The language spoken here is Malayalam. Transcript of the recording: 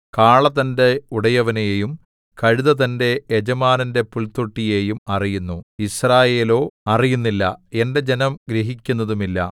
കാള തന്റെ ഉടയവനെയും കഴുത തന്റെ യജമാനന്റെ പുൽത്തൊട്ടിയെയും അറിയുന്നു യിസ്രായേലോ അറിയുന്നില്ല എന്റെ ജനം ഗ്രഹിക്കുന്നതുമില്ല